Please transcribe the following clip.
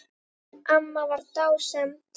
Amma var dásemd.